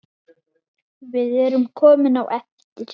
Við erum komin á eftir.